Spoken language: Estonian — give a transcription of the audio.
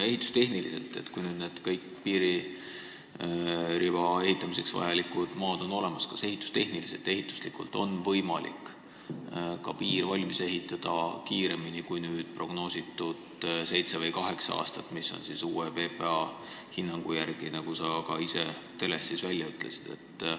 Kas siis, kui need piiririba ehitamiseks vajalikud maad on olemas, on ehituslikult võimalik piir valmis ehitada kiiremini kui prognoositud seitse või kaheksa aastat, nagu PPA uus hinnang on ja nagu sa ka ise teles välja ütlesid?